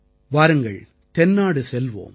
வாருங்கள் தென்னாடு செல்வோம்